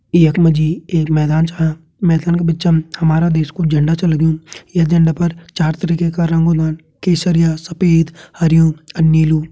यख मा जी एक मैदान छा मैदान का बिचम हमारा देश कू झंडा छ लग्युं ये झंडा पर चार तरह का रंग होन्दन केसरिया सफ़ेद हरयूं अ नीलू।